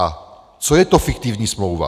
A co je to fiktivní smlouva?